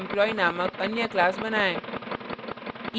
testemployee named अन्य class बनाएँ